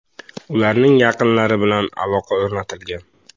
Ularning yaqinlari bilan aloqa o‘rnatilgan”.